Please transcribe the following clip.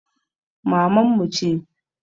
Maman mu ce